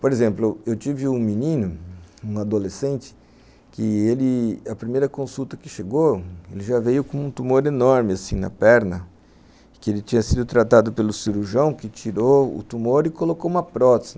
Por exemplo, eu tive um menino, um adolescente, que ele, a primeira consulta que chegou, ele já veio com um tumor enorme, assim, na perna, que ele tinha sido tratado pelo cirurgião, que tirou o tumor e colocou uma prótese.